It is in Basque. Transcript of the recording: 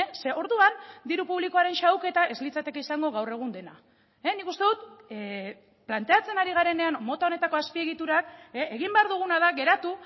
ze orduan diru publikoaren xahuketa ez litzateke izango gaur egun dena nik uste dut planteatzen ari garenean mota honetako azpiegiturak egin behar duguna da geratu